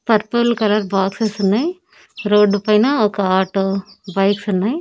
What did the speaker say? Purple colour boxes ఉన్నాయి రోడ్డు పైన ఒక ఆటో బైక్స్ ఉన్నాయి.